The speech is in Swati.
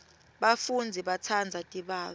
bafundzi batsandza tibalo